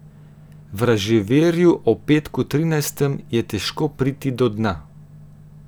Vraževerju o petku trinajstem je težko priti do dna.